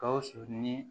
Gawusu ni